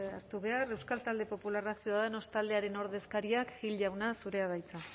hartu behar euskal talde popularra ciudadanos taldearen ordezkaria gil jauna zurea da hitza